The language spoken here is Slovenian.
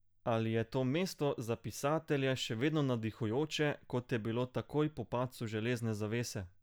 Ali je to mesto za pisatelje še vedno navdihujoče, kot je bilo takoj po padcu železne zavese?